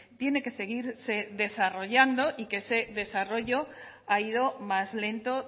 tiene que seguirse desarrollando y que ese desarrollo ha ido más lento